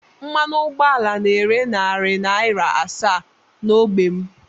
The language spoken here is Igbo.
Mmanụ ụgbọala na-ere narị naira asaa n'ógbè m